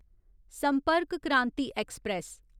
संपर्क क्रांति ऐक्सप्रैस